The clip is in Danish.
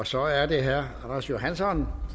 så er det herre anders johansson